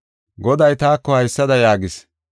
Goday taako haysada yaagis: